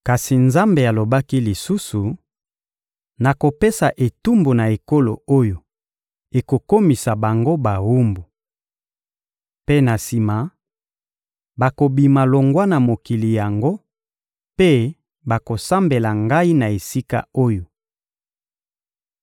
Kasi Nzambe alobaki lisusu: «Nakopesa etumbu na ekolo oyo ekokomisa bango bawumbu. Mpe na sima, bakobima longwa na mokili yango mpe bakosambela Ngai na esika oyo.»